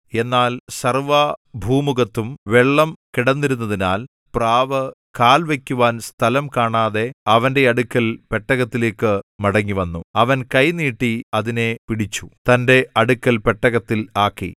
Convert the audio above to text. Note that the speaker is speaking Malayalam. എന്നാൽ സർവ്വഭൂമുഖത്തും വെള്ളം കിടന്നിരുന്നതിനാൽ പ്രാവ് കാൽ വയ്ക്കുവാൻ സ്ഥലം കാണാതെ അവന്റെ അടുക്കൽ പെട്ടകത്തിലേക്കു മടങ്ങിവന്നു അവൻ കൈ നീട്ടി അതിനെ പിടിച്ചു തന്റെ അടുക്കൽ പെട്ടകത്തിൽ ആക്കി